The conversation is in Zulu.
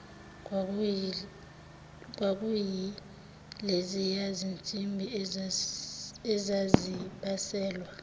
kwakuyileziya zinsimbi ezazibaselwa